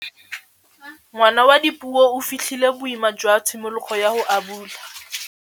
Ngwana wa Dipuo o fitlhile boêmô jwa tshimologô ya go abula.